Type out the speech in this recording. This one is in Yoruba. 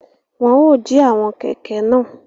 Wọn o ji àwọn kẹkẹ náà